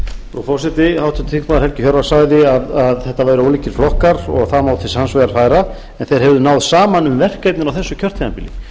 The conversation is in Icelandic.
frú forseti háttvirtur þingmaður helgi hjörvar sagði að þetta væru ólíkir flokkar og það má til sanns vegar færa en þeir hefðu náð saman um verkefnin á þessu kjörtímabili